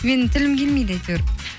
менің тілім келмейді әйтеуір